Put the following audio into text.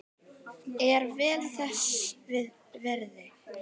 Er vel þess virði.